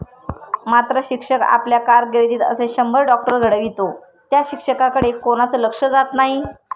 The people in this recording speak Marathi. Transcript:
मात्र शिक्षक आपल्या कारकीर्दीत असे शंभर डॉक्टर घडवितो त्या शिक्षकाकडे कोणाचं लक्ष जात नाही.